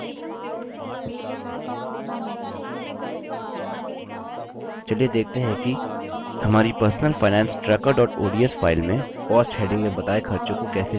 चलिए देखते हैं कि कैसे हमारी personal finance tracker ods file में cost heading में बताए खर्चों को कैसे जोड़ें